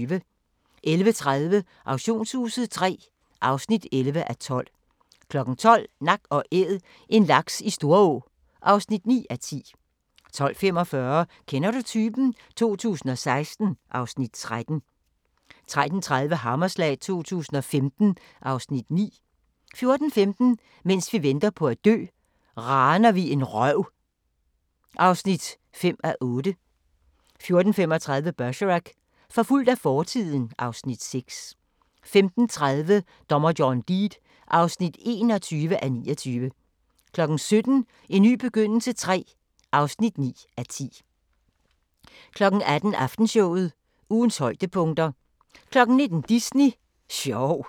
11:30: Auktionshuset III (11:12) 12:00: Nak & Æd – en laks i Storå (9:10) 12:45: Kender du typen? 2016 (Afs. 13) 13:30: Hammerslag 2015 (Afs. 9) 14:15: Mens vi venter på at dø – Raner vi en røv (5:8) 14:35: Bergerac: Forfulgt af fortiden (Afs. 6) 15:30: Dommer John Deed (21:29) 17:00: En ny begyndelse III (9:10) 18:00: Aftenshowet – ugens højdepunkter 19:00: Disney sjov